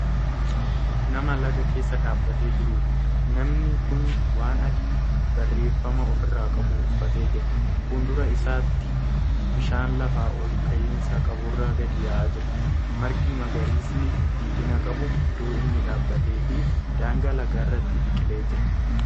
Nama Laga keessa dhaabatee jiruudha. namni Kuni waan adii barreeffama ofirraa qabu uffatee jira. fuuldura isaatti bishaan lafa olka'iinsa qaburra gadi yaa'aa jira. margi magariisni jiidhina qabu iddoo inni dhaabateefi daangaa lagaarratti biqilee Jira.